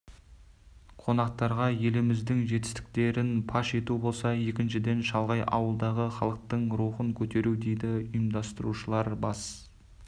қонақтарға еліміздің жетістіктерін паш ету болса екіншіден шалғай ауылдағы халықтың рухын көтеру дейді ұйымдастырушылар бас